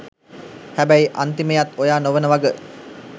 හැබැයි අන්තිමයත් ඔයා නොවෙන වග